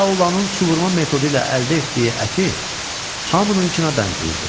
La Olanın su vurma metodu ilə əldə etdiyi əti hamınınkına bənzəyirdi.